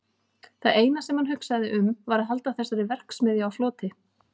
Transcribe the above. Það eina sem hann hugsaði um var að halda þessari verksmiðju sinni á floti.